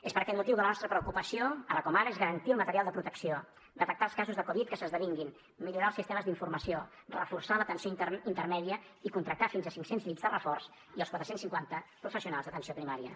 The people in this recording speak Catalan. és per aquest motiu que la nostra preocupació ara com ara és garantir el material de protecció detectar els casos de covid que s’esdevinguin millorar els sistemes d’informació reforçar l’atenció intermèdia i contractar fins a cinc cents llits de reforç i els quatre cents i cinquanta professionals d’atenció primària